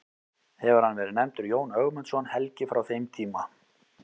Hefur hann verið nefndur Jón Ögmundsson helgi frá þeim tíma.